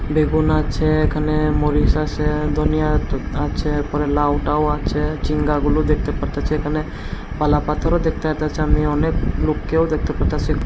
বেগুন আচে এখানে মরিচ আসে ধনিয়া আচে পরে লাউ টাউ আচে জিঙ্গাগুলো দেখতে পারতেসি একানে পাল্লা পাথরও দেখতে পাইতেসি আমি অনেক লুককেও দেখতে পাইতেসি।